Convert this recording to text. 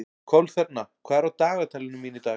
Kolþerna, hvað er á dagatalinu mínu í dag?